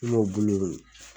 M'o bulu in